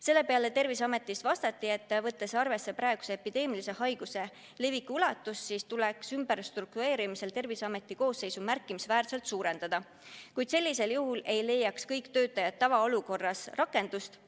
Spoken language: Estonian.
Selle peale vastati, et võttes arvesse praeguse epideemilise haiguse leviku ulatust, tuleks ümberstruktureerimisel Terviseameti koosseisu märkimisväärselt suurendada, kuid tavaolukorras ei leiaks kõik töötajad rakendust.